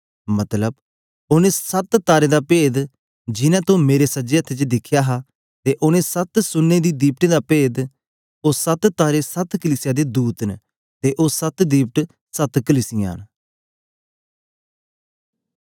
मतलब ओनें सत तारें दा पेद जिनैं तो मेरे सज्जे हत्थे च दिखया हा ते ओनें सत सोनें दी दिवटें दा पेद ओ सत तारे सत कलीसिया दे दूत न ते ओ सत दीवट सत कलीसिया न